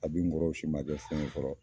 Ka bi n kɔrɔw si man kɛ fɛn ye fɔlɔ.